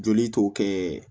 Joli tɔ kɛ